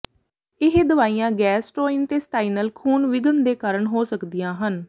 ਇਹ ਦਵਾਈਆਂ ਗੈਸਟਰ੍ੋਇੰਟੇਸਟਾਈਨਲ ਖੂਨ ਵਿਘਨ ਦੇ ਕਾਰਨ ਹੋ ਸਕਦੀਆਂ ਹਨ